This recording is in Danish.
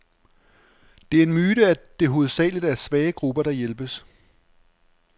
Det er en myte, at det hovedsageligt er svage grupper, der hjælpes.